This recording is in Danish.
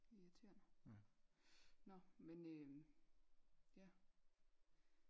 Det er irriterende nå men øhm ja hva øh